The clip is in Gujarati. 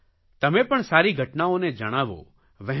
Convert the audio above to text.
તમે પણ સારી ઘટનાઓને જણાવો વહેંચો